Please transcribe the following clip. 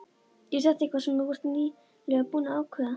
Er þetta eitthvað sem þú ert nýlega búinn að ákveða.